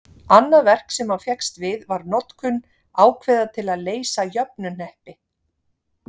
Annað verk sem hann fékkst við var notkun ákveða til að leysa jöfnuhneppi.